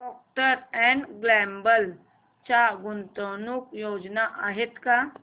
Procter and Gamble च्या गुंतवणूक योजना आहेत का